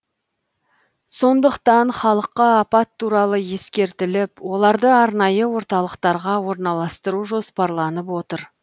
сондықтан халыққа апат туралы ескертіліп оларды арнайы орталықтарға орналастыру жоспарланып отыр